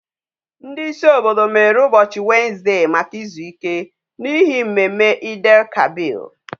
Ndi isi obodo mere ubochi Wednesday Maka izuike, n'ihi mmemme Eid El kabir